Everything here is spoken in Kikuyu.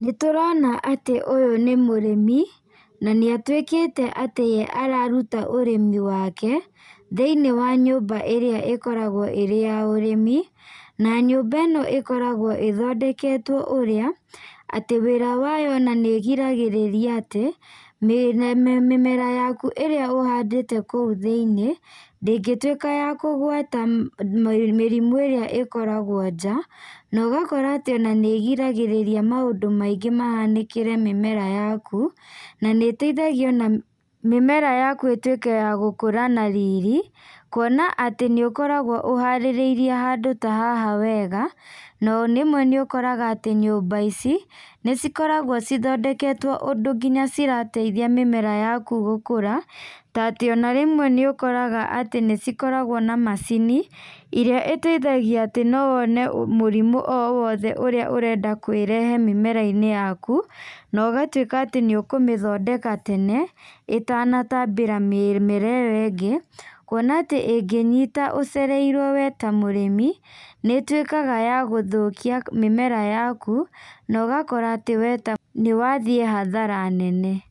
Nĩ tũrona atĩ ũyũ nĩ mũrĩmi na nĩ atuĩkĩte atĩ we araruta ũrĩmi wake thĩinĩ wa nyũmba ĩrĩa ĩkoragwo ĩrĩ ya ũrimi. Na nyũmba ĩno ĩkoragwo ĩthondeketwo atĩ ũrĩa atĩ wĩra wayo ona nĩ ĩgiragĩrĩria atĩ mĩmera yaku ĩrĩa ũhandĩte kũu thĩinĩ ndĩngĩtuĩka ya kũgwata mĩrimũ ĩrĩa ĩkoragwo nja. Na ũgakora atĩ ona nĩ ĩgiragĩrĩria maũndũ maingĩ mahanĩkĩre mĩmera yaku na nĩ ĩteithagia ona mĩmera yaku ĩtuĩke ya gũkũra na riri. Kuona atĩ nĩ ũkoragwo ũharĩrĩirie handũ ta haha wega na rĩmwe nĩ ũkoraga atĩ nyũmba ici nĩ cikoragwo ithondeketwo ũndũ nginya cirateithia mĩmera yaku gũkũra. Ta atĩ ona rĩmwe nĩ ũkraga nĩ cikoragwo na macini ĩrĩa ĩteithagia atĩ no wone mũrimũ o wothe ũrĩa ũrenda kwĩrehe mĩmera-inĩ yaku., na ũgatuĩka atĩ nĩ ũkũmĩthondeka tene ĩtanatambĩra mĩmera ĩyo ĩngĩ. Kwona atĩ ĩngĩnyita ũcereirwo we ta mũrĩmi nĩ ĩtuĩkaga ya gũthũkia mĩmera yaku, na ũgakora atĩ we nĩ wathiĩ hathara nene.